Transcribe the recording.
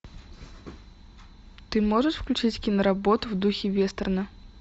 ты можешь включить киноработу в духе вестерна